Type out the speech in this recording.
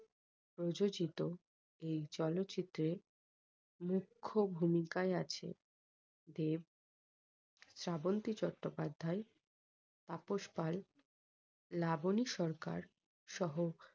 প্রযোজিত এই চলচ্চিত্র -এর মুখ্য ভূমিকায় আছে দেব শ্রাবন্তী চট্টোপাধ্যায় তাপস পাল লাবনী সরকার সহ